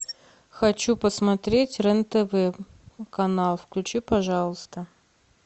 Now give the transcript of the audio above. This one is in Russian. хочу посмотреть рен тв канал включи пожалуйста